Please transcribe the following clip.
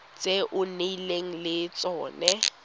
tse o nnileng le tsone